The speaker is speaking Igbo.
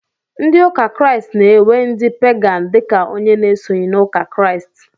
Ndị ụka Kraịst na- ewe ndị " pagan" dika ónyé na- esoghi n' ụka Kraịst.